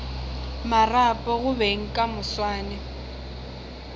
marapo go beng ka moswane